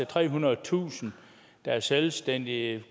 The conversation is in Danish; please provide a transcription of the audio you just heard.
trehundredetusind der er selvstændige og